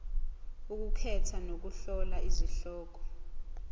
ukukhetha nokuhlola izihloko